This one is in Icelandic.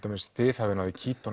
þið hafið náð í